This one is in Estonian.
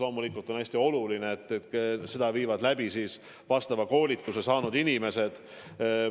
Loomulikult on hästi oluline, et seda viivad läbi asjaomase koolituse saanud inimesed.